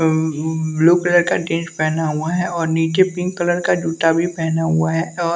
अं blue colour का dress पहना हुआ है और नीचे पिंक कलर का जूता भी पहना हुआ है और--